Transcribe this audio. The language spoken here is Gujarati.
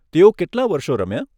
તેઓ કેટલાં વર્ષો રમ્યા?